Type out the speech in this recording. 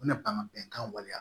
U bɛna ban ka bɛnkan waleya